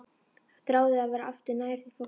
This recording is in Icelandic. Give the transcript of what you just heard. Þráði að vera aftur nær því fólki.